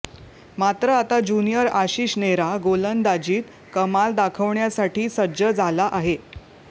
मात्र आता ज्युनियर आशिष नेहरा गोलंदाजीत कमाल दाखवण्यासाठी सज्ज झाला आहे